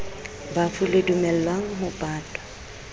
bafu le dumellang ho patwa